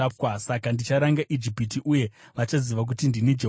Saka ndicharanga Ijipiti, uye vachaziva kuti ndini Jehovha.’ ”